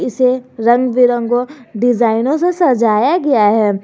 से रंग बिरंगो डिजाइनो से सजाया गया है।